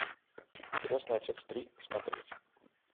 крестный отец три смотреть